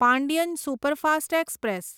Pandian superfast express